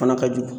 Fana ka jugu